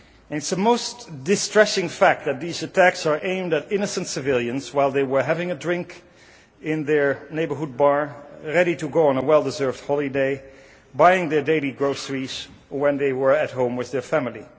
It is a most distressing fact that these attacks were aimed at innocent civilians while they were having a drink in their neighbourhood bar, ready to go on a well deserved holiday, buying their daily groceries, when they were at home with their family.